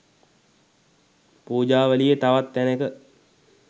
පූජාවලියේ තවත් තැනෙක